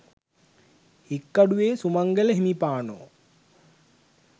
Hikkaduwe Sumangala හිමිපාණෝ